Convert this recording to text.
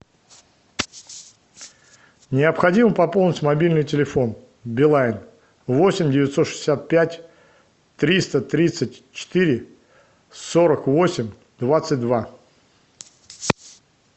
необходимо пополнить мобильный телефон билайн восемь девятьсот шестьдесят пять триста тридцать четыре сорок восемь двадцать два